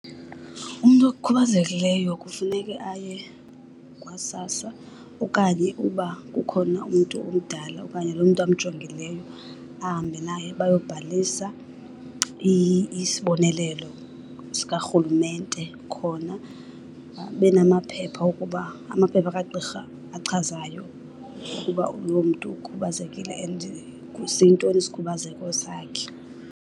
Umntu okhubazekileyo kufuneke aye kwaSASSA okanye uba kukhona umntu omdala okanye loo mntu amjongileyo ahambe naye bayobhalisa isibonelelo sikarhulumente khona. Abenamaphepha okuba, amaphepha kagqirha achazayo ukuba loo mntu ukhubazekile and kusintoni isikhubazeko sakhe.